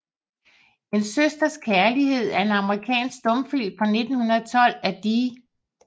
En Søsters Kærlighed er en amerikansk stumfilm fra 1912 af D